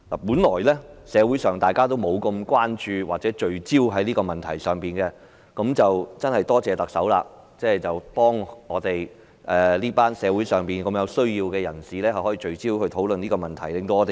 本來社會不太關注或聚焦於這個問題，但真的多謝特首令大家聚焦討論這個關乎社會上一群有需要人士的問題。